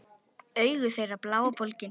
Augu þeirra blá og bólgin.